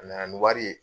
A nana ni wari ye